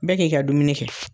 Bɛɛ k'i ka dumuni kɛ